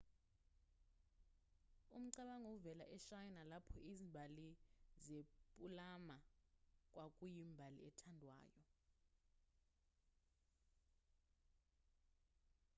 umcabango uvela eshayina lapho izimbali zepulamu kwakuyimbali ethandwayo